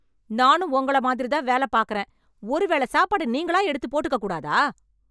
நானும் உங்கள மாதிரி தான் வேலப் பாக்குறேன், ஒரு வேள சாப்பாடு நீங்களா எடுத்து போட்டுக்கக் கூடாதா?